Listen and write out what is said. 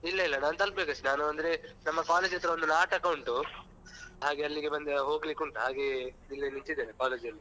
ಇಲ್ಲ ಇಲ್ಲ ನಾನ್ ತಲಪಬೇಕಷ್ಟೆ ಈಗ ನಾನು ಅಂದ್ರೆ ನಮ್ಮ college ಹತ್ರ ಒಂದು ನಾಟಕ ಉಂಟು. ಹಾಗೆ ಅಲ್ಲಿ ಬಂದು ಹೋಗ್ಲಿಕ್ಕೆ ಉಂಟು ಹಾಗೆ ಇಲ್ಲೇ ನಿಂತಿದ್ದೇನೆ college ಅಲ್ಲೇ.